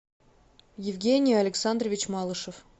евгений александрович малышев